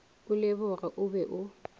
o leboge o be o